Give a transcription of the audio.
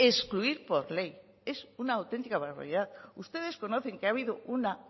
excluir por ley es una auténtica barbaridad ustedes conocen que ha habido una